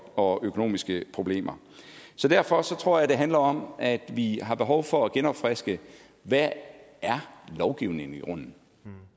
og økonomiske problemer derfor tror jeg det handler om at vi har behov for at genopfriske hvad lovgivningen i grunden